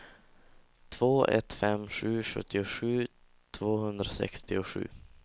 två ett fem sju sjuttiosju tvåhundrasextiosju